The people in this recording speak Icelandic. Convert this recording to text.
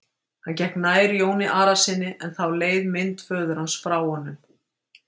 Hann gekk nær Jóni Arasyni en þá leið mynd föður hans frá honum.